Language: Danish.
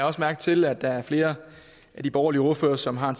også mærke til at der er flere af de borgerlige ordførere som har